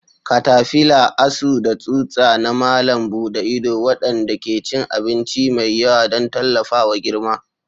Katafila: Asu da tsutsa na malam buɗe ido, waɗanda ke cin abinci mai yawa don tallafawa girma.